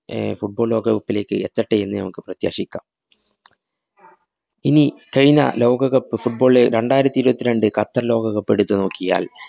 ഏ Football ലോകകപ്പിലേക്ക് എത്തട്ടേയെന്ന് നമുക്ക് പ്രത്യാശിക്കാം. ഇനി കഴിഞ്ഞ ലോകകപ്പ് football ള് രണ്ടായിരത്തി ഇരുപത്തിരണ്ട് ഖത്തര്‍ ലോകകപ്പെടുത്തു നോക്കിയാല്‍,